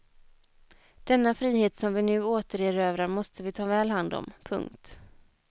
Denna frihet som vi nu återerövrar måste vi ta väl hand om. punkt